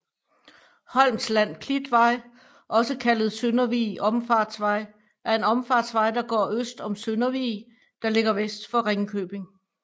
Holmsland Klitvej også kaldes Søndervig Omfartsvej er en omfartsvej der går øst om Søndervig der ligger vest for Ringkøbing